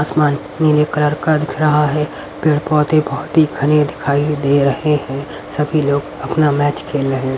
आसमान नीले कलर का दिख रहा है पेड़ पौधे बहुत ही घने दिखाई दे रहे हैं सभी लोग अपना मैच खेल रहे हैं।